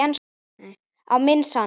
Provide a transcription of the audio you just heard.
Á minn sann!